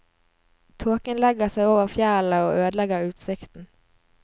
Tåken legger seg over fjellene og ødelegger utsikten.